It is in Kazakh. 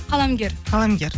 қаламгер қаламгер